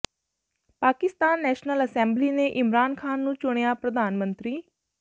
Pakistan National Assembly ਨੇ ਇਮਰਾਨ ਖਾਨ ਨੂੰ ਚੁਣਿਆ ਪ੍ਰਧਾਨ ਮੰਤਰੀ